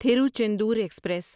Tiruchendur express